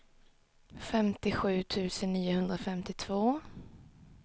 femtiosju tusen niohundrafemtiotvå